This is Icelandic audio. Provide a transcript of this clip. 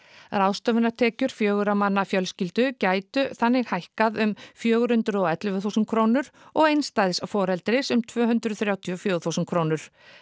ráðstöfunartekjur fjögurra manna fjölskyldu gætu þannig hækkað um allt fjögur hundruð og ellefu þúsund krónur og einstæðs foreldris um tvö hundruð þrjátíu og fjögur þúsund krónur